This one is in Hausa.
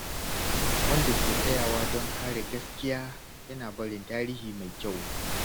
Wanda ke tsayawa don kare gaskiya, yana barin tarihi mai kyau.